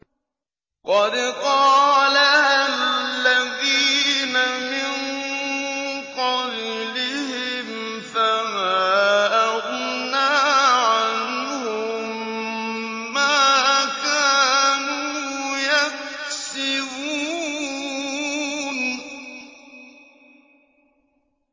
قَدْ قَالَهَا الَّذِينَ مِن قَبْلِهِمْ فَمَا أَغْنَىٰ عَنْهُم مَّا كَانُوا يَكْسِبُونَ